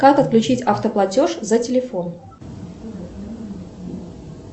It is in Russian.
как отключить автоплатеж за телефон